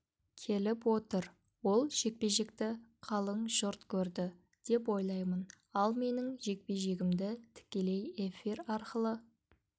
келіп отыр ол жекпе-жекті қалың жұрт көрді деп ойлаймын ал менің жекпе-жегімді тікелей эфир арқылы